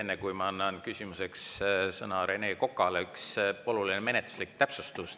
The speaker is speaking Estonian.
Enne kui ma annan küsimuseks sõna Rene Kokale, üks oluline menetluslik täpsustus.